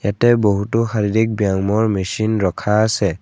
ইয়াতে বহুতো শাৰীৰিক ব্যায়ামৰ মেচিন ৰখা আছে।